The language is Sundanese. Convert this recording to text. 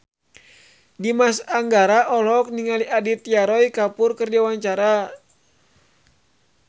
Dimas Anggara olohok ningali Aditya Roy Kapoor keur diwawancara